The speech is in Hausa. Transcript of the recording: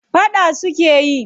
Faɗa suke yi?